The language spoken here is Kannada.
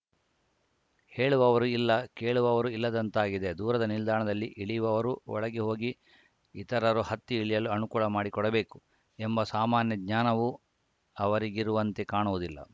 ಹೇಳುವವರು ಇಲ್ಲ ಕೇಳುವವರು ಇಲ್ಲದಂತಾಗಿದೆ ದೂರದ ನಿಲ್ದಾಣದಲ್ಲಿ ಇಳಿಯುವವರು ಒಳಗೆ ಹೋಗಿ ಇತರರು ಹತ್ತಿ ಇಳಿಯಲು ಅನುಕೂಲ ಮಾಡಿಕೊಡಬೇಕು ಎಂಬ ಸಾಮಾನ್ಯ ಜ್ಞಾನವೂ ಅವರಿಗಿರುವಂತೆ ಕಾಣುವುದಿಲ್ಲ